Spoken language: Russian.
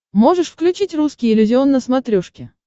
можешь включить русский иллюзион на смотрешке